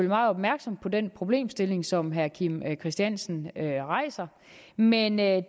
meget opmærksomme på den problemstilling som herre kim christiansen rejser men jeg